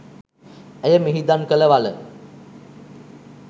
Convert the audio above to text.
ඇය මිහිදන් කළ වළ